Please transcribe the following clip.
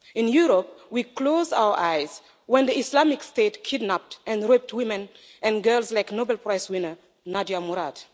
In Europe we close our eyes when the Islamic State kidnapped and raped women and girls like Nobel Prize winner, Nadia Murad.